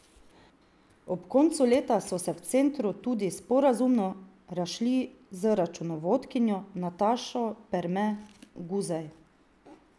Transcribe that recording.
Ob koncu leta so se v centru tudi sporazumno razšli z računovodkinjo Natašo Perme Guzej.